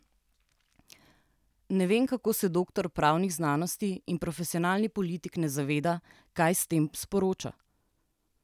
Ne vem, kako se doktor pravnih znanosti in profesionalni politik ne zaveda, kaj s tem sporoča.